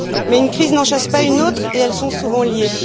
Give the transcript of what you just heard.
Mais une crise n'en chasse pas une autre et elles sont souvent liées.